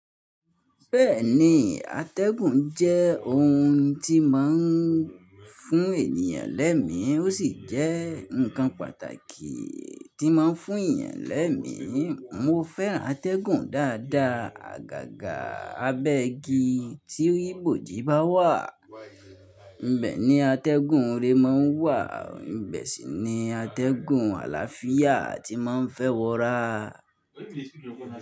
Bẹ́ẹ̀ni, atẹ́gùn jẹ́ ohun tí máa ń fún ènìyàn lẹ́mi, ó sì jẹ́ ǹkan pàtàkì tí máa ń fún ènìyàn lẹ́mi. Mo fẹ́ràn atẹ́gùn dáadáa. Àgàgà abẹ́ igi tí rí ibòji bá wà, ibẹ̀ ni atẹ́gùn re máa ń wà, ibẹ̀ sì ni atẹ́gùn àlàáfíà tí máa ń fẹ́ wọra.